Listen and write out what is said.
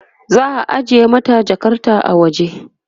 za'a ajiye mata Jakarta a waje